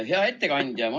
Hea ettekandja!